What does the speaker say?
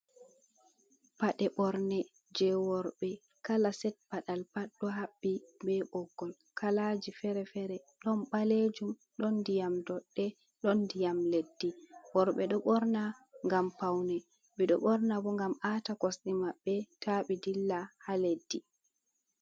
"Pade ɓorne" je worɓe kala set padal pat ɗo habɓi be ɓoggol. Kalaji fere-fere ɗon balejum ɗon ndiyam dodɗe ɗon ndiyam leddi. Worɓe ɗo ɓorna ngam paune ɓe ɗo ɓorna bo ngam a'ta kosde mabɓe tabi dilla ha leddi.